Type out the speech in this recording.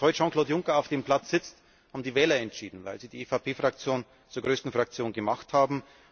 Dass heute Jean Claude Juncker auf dem Platz sitzt, haben die Wähler entschieden, weil sie die EVP Fraktion zur größten Fraktion gemacht haben.